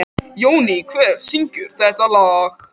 Jóný, hver syngur þetta lag?